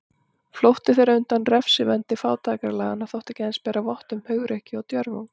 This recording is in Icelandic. Flótti þeirra undan refsivendi fátækralaganna þótti ekki aðeins bera vott um hugrekki og djörfung.